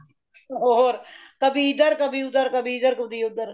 ਹੋਰ ਕਭੀ ਇੱਧਰ ਕਭੀ ਉਧਰ ,ਕਭੀ ਇੱਧਰ ਕਭੀ ਉਧਰ